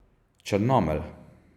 Črnomelj.